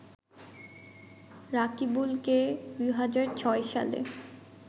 রাকিবুলকে ২০০৬ সালে